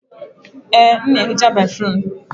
Ee, m na ehicha béfrụm.